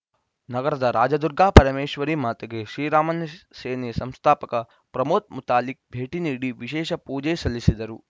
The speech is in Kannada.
ನಗರದ ರಾಜಾದುರ್ಗಾಪರಮೇಶ್ವರಿ ಮಾತೆಗೆ ಶ್ರೀರಾಮ ಸೇನಾ ಸಂಸ್ಥಾಪಕ ಪ್ರಮೋದ್‌ ಮುತಾಲಿಕ್‌ ಭೇಟಿ ನೀಡಿ ವಿಶೇಷ ಪೂಜೆ ಸಲ್ಲಿಸಿದರು